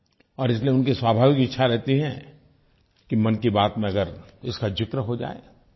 और इसलिये उनकी स्वाभाविक इच्छा रहती है कि मन की बात में अगर इसका ज़िक्र हो जाए